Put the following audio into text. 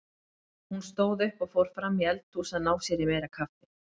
Hún stóð upp og fór fram í eldhús að ná sér í meira kaffi.